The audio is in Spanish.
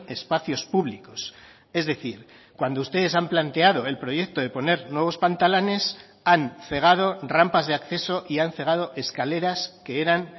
espacios públicos es decir cuando ustedes han planteado el proyecto de poner nuevos pantalanes han cegado rampas de acceso y han cegado escaleras que eran